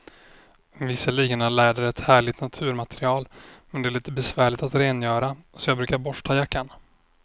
Visserligen är läder ett härligt naturmaterial, men det är lite besvärligt att rengöra, så jag brukar borsta jackan.